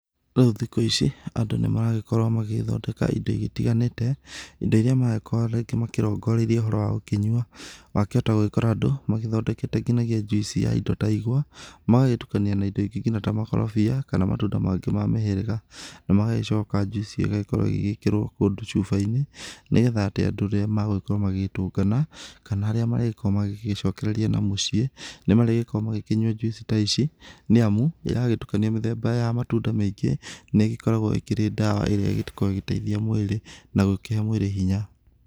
Rĩu thikũ ici, andũ nĩ maragĩkorwo magĩthondeka indo itiganĩte. Indo iria maragĩkorwo rĩngĩ makĩrongoreiria ũhoro wa gũkĩnyua. Wahota gũgĩkora andũ magĩthondekete nginya juice ya indo ta igwa, magagĩtukania na indo ingĩ nginya ta makorobia kana matunda mangĩ ma mĩhĩrĩga. Na magagĩcoka juice ĩgagĩkĩrwo ĩgĩkĩrwo kũndũ cuba-inĩ, nĩgetha atĩ andũ rĩrĩa magũgĩkorwo magĩgĩtũngana kana harĩa marĩgĩkowo magĩgĩcokereria na mũciĩ, nĩ marĩgĩkoragwo makĩnyua juice ta ici. Nĩ amu, yagĩtukanio mĩthemba ya matunda maingĩ nĩ ĩgĩkoragwo ĩkĩrĩ ndawa ĩrĩa ĩkoragwo ĩgĩteithia mwĩrĩ nagũkĩhe mwĩrĩ hinya.